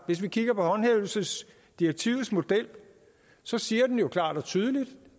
hvis vi kigger på håndhævelsesdirektivets model siger den jo klart og tydeligt